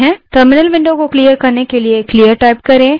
terminal window को clear करने के लिए clear type करें